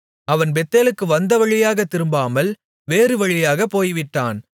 அவன் பெத்தேலுக்கு வந்த வழியாகத் திரும்பாமல் வேறு வழியாகப் போய்விட்டான்